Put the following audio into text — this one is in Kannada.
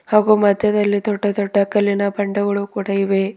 ಹಾಗೂ ಮಧ್ಯದಲ್ಲಿ ದೊಡ್ಡ ದೊಡ್ಡ ಕಲ್ಲಿನ ಬಂಡೆಗಳು ಕೂಡ ಇವೆ.